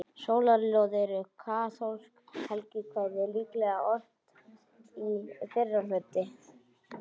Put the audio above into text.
Sólarljóð eru kaþólskt helgikvæði, líklega ort á fyrra hluta